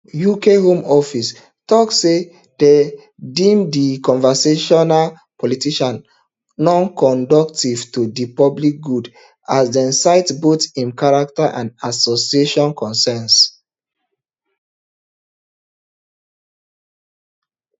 uk home office tok say dem deem di controversial politician nonconducive to di public good as dem cite both im character and association concerns